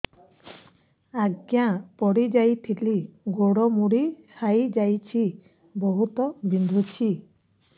ଆଜ୍ଞା ପଡିଯାଇଥିଲି ଗୋଡ଼ ମୋଡ଼ି ହାଇଯାଇଛି ବହୁତ ବିନ୍ଧୁଛି